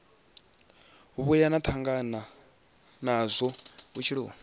vhuya na tangana nazwo vhutshiloni